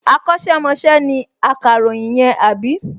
Akọ́ṣẹ́mọṣẹ́ ni akàròyìn yẹn, àbí?